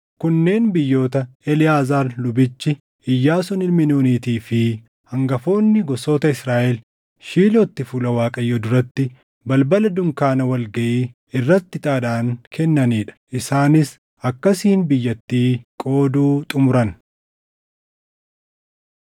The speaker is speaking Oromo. Kunneen biyyoota Eleʼaazaar lubichi, Iyyaasuun ilmi Nuunitii fi hangafoonni gosoota Israaʼel Shiilootti fuula Waaqayyoo duratti balbala dunkaana wal gaʼii irratti ixaadhaan kennanii dha. Isaanis akkasiin biyyattii qooduu xumuran.